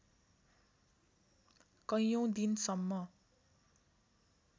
कैयौँ दिनसम्म